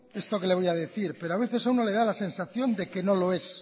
esto que le voy a decir pero a veces a uno le da la sensación de que no lo es